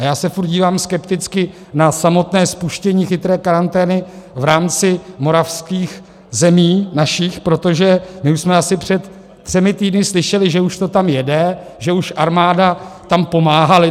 A já se furt dívám skepticky na samotné spuštění chytré karantény v rámci moravských zemí, našich, protože my už jsme asi před třemi týdny slyšeli, že už to tam jede, že už armáda tam pomáhá.